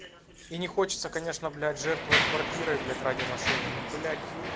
и не хочется конечно блять жертвовать квартирой блять ради машины но блять